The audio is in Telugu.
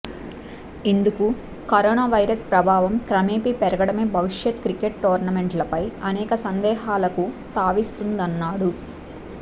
ఇందుకు కరోనా వైరస్ ప్రభావం క్రమేపీ పెరగడమే భవిష్య క్రికెట్ టోర్నమెంట్లపై అనేక సందేహాలకు తావిస్తుందన్నాడు